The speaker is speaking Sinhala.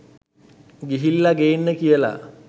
ගිහිල්ල ගේන්න කියල